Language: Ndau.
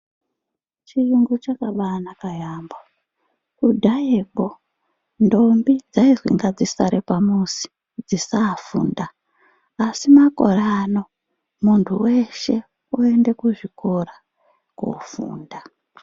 Chiyungu chakambaanaka yambo, kudhayeko ndombi dzaizenga dzisare pamuzi dzisaafunda asi makore ano muntu weshe unoenda kuzvikora kuofunda.